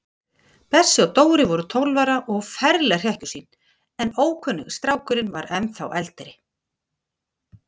Bessi og Dóri voru tólf ára og ferleg hrekkjusvín, en ókunni strákurinn var ennþá eldri.